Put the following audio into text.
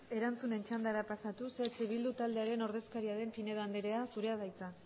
erantzunen txandara pasatuz eh bildu taldearen ordezkaria den pinedo anderea zurea da hitza